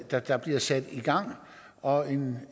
der der bliver sat i gang og en